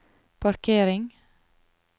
parkering